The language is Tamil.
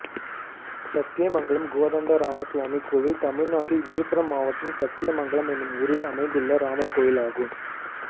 சத்தியமங்கலம் கோதண்டராமசுவாமி கோயில் தமிழ்நாட்டில் விழுப்புரம் மாவட்டம் சத்தியமங்கலம் என்னும் ஊரில் அமைந்துள்ள ராமர் கோயிலாகும்